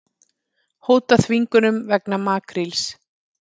Hóta þvingunum vegna makríls